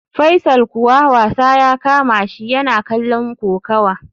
Faisal kuwa wasa ya kamashi, yana kallon kokawa